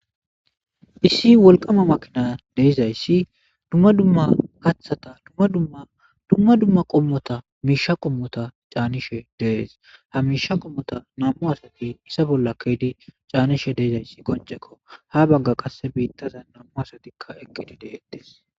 issi wolqama makina de'izayssi dumma dumma kathata dadmmadumma dumma qommota miisha qommota caanishe dees ha miisha qommota nam7u asati isa bolla keydi caanishe deyzayssi qoncekko ha bagga qasse biittaza nammu asatikka eqqidi deettes